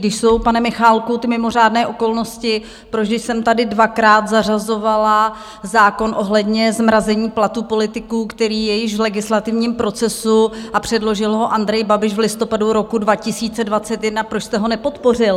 Když jsou, pane Michálku, ty mimořádné okolnosti, proč, když jsem tady dvakrát zařazovala zákon ohledně zmrazení platů politiků, který je již v legislativním procesu, a předložil ho Andrej Babiš v listopadu roku 2021, proč jste ho nepodpořil?